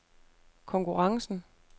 konkurrencen